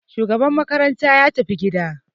Shugaban makaranta ya tafi gida.